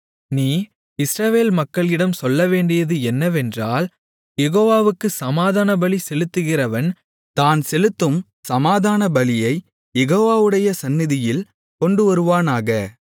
நீ இஸ்ரவேல் மக்களிடம் சொல்லவேண்டியது என்னவென்றால் யெகோவாவுக்குச் சமாதானபலி செலுத்துகிறவன் தான் செலுத்தும் சமாதானபலியைக் யெகோவாவுடைய சந்நிதியில் கொண்டுவருவானாக